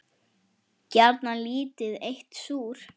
Gjarnan lítið eitt súr.